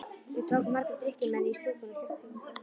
Við tókum marga drykkjumenn í stúkuna og hjálpuðum þeim.